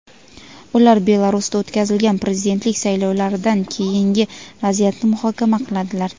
ular Belarusda o‘tkazilgan prezidentlik saylovlaridan keyingi vaziyatni muhokama qiladilar.